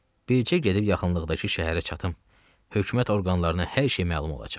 Bircə gedib yaxınlıqdakı şəhərə çatım, hökumət orqanlarına hər şey məlum olacaq.